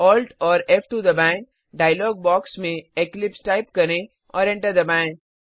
Alt फ़2 दबाएं dialogue box में इक्लिप्स टाइप करें और एंटर दबाएं